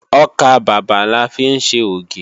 Ọkàbàbà la fi ń ṣe ògì